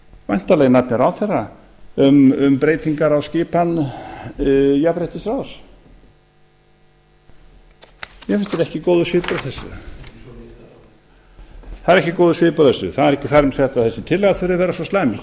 væntanlega í nafni ráðherra um breytingar á skipan jafnréttisráðs mér finnst ekki góður svipur á þessu það er ekki góður svipur á þessu það er ekki þar með sagt að þessi tillaga þurfi að vera svo slæm við